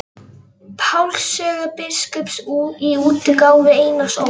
Páls sögu biskups í útgáfu Einars Ól.